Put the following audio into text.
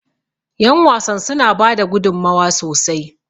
yanwasan sun bada gudummawa sosai